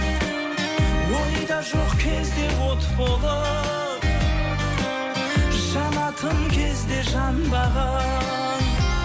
ойда жоқ кезде от болып жанатын кезде жанбаған